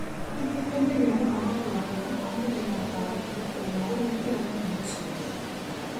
Nĩtuteithagia mũthamaki wa bũrũri o mũthenya gũtarĩria ũma urĩa tũĩ kuma CIA